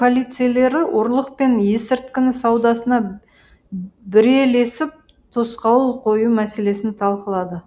полицейлері ұрлық пен есірткіні саудасына бірелесіп тосқауыл қою мәселесін талқылады